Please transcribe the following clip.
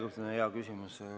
Järjekordne hea küsimus.